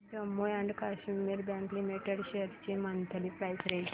Jammu and Kashmir bank limited shares ची monthly price range